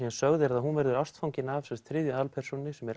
sögð hún verður ástfangin af þriðju aðalpersónunni sem er